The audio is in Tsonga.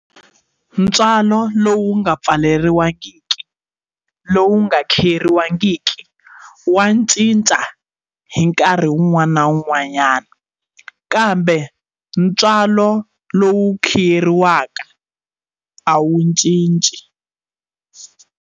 Ntswalo lowu nga pfumeleriwangiki lowu nga khiyeriwangiki wa cinca hi nkarhi wun'wana na wun'wanyana kambe ntswalo lowu khiyeriwaka a wu cinci.